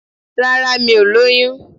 Rárá mi ò lóyún